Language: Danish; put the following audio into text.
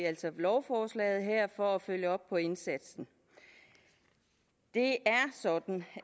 altså lovforslaget her for at følge op på indsatsen det er sådan